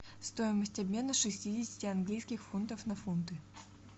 стоимость обмена шестидесяти английских фунтов на фунты